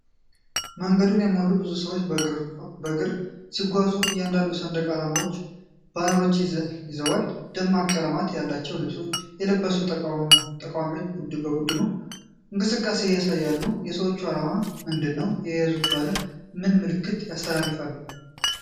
መንገዱን የሞሉ ብዙ ሰዎች በእግር ሲጓዙ አንዳንዶቹ ሰንደቅ ዓላማዎችንና ባነሮችን ይዘዋል። ደማቅ ቀለማት ያላቸው ልብሶች የለበሱት ተቃዋሚዎች የቡድኑን እንቅስቃሴ ያሳያሉ። የሰዎቹ ዓላማ ምንድን ነው? የተያዙት ባነሮች ምን መልዕክት ያስተላልፋሉ?